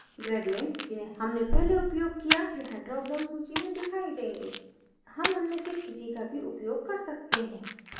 gradients जिन्हें हमने पहले उपयोग किया यहाँ drop down सूची में दिखाई देंगे हम उनमें से किसी का भी उपयोग कर सकते हैं